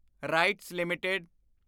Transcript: rights LTD